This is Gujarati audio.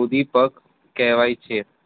ઉભી પગ કહેવાય છે.